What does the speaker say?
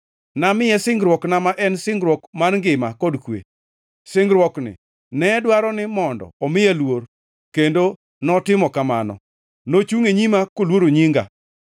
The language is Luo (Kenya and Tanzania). “Namiye singruokna ma en singruok mar ngima kod kwe. Singruokni ne dwaro ni mondo omiya luor, kendo notimo kamano; nochungʼ e nyima koluoro nyinga.